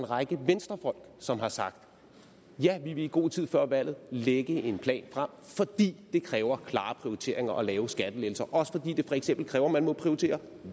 række venstrefolk som har sagt vi vil i god tid før valget lægge en plan frem fordi det kræver klare prioriteringer at lave skattelettelser også fordi det for eksempel kræver at man må prioritere